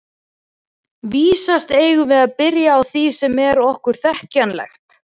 Vísast eigum við að byrja á því sem er okkur þekkjanlegt.